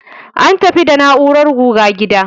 An tafi da na'urar guga gida.